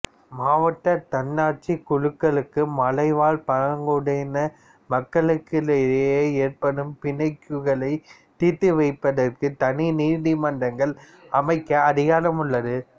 மாவட்ட தன்னாட்சிக் குழுக்களுக்கு மலைவாழ் பழங்குடி மக்களுக்கிடையே ஏற்படும் பிணக்குகளை தீர்த்து வைப்பதற்கு தனி நீதிமன்றங்கள் அமைக்க அதிகாரம் உள்ளது